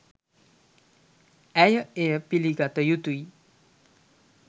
ඇය එය පිළිගත යුතුයි